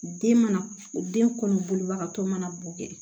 Den mana den kɔnɔ bolibagatɔ mana bo kɛ